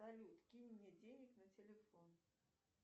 салют кинь мне денег на телефон